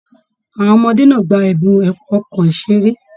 Àwọn ọmọdé náà gbà ẹbùn ọkọ iṣere.